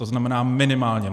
To znamená minimálně.